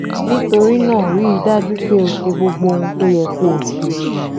nítorí náà rí i dájú pé o ṣe gbogbo ohun tó yẹ kó o ṣe